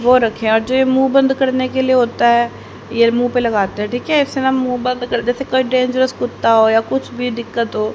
ओ रखिया जो ये मुंह बंद करने के लिए होता है ये मुंह पे लगाते हैं ठीक है उसे न मुंह बन्द कर जैसे कोई डेंजरस कुत्ता हो या कुछ भी दिक्कत हो --